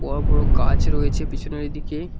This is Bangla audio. বড় বড় গাছ রয়েছে পিছনের দিকে।